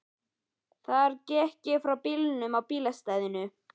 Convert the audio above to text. Þar gekk ég frá bílnum á bílastæðinu.